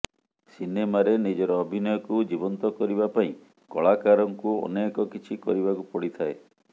ସିିନେମାରେ ନିଜର ଅଭିନୟକୁ ଜୀବନ୍ତ କରିବା ପାଇଁ କଳାକାରଙ୍କୁ ଅନେକ କିଛି କରିବାକୁ ପଡିଥାଏ